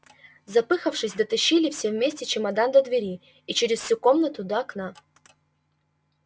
запыхавшись дотащили все вместе чемодан до двери и через всю комнату до окна